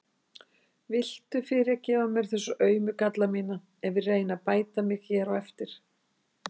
Viltu fyrirgefa mér þessa aumu galla mína ef ég reyni að bæta mig hér eftir?